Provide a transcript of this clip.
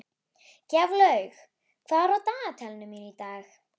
Gjaflaug, hvað er á dagatalinu mínu í dag?